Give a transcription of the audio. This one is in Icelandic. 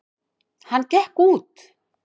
Hann gekk út.